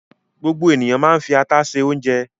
Gbogbo ènìyàn máa ń fi ata se oúnjẹ.